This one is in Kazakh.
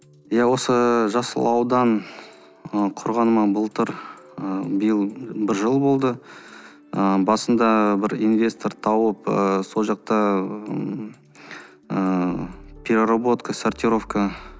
иә осы жасыл аудан ы құрғаныма былтыр ы биыл бір жыл болды ы басында бір инвестор тауып ы сол жақта ыыы переработка сортировка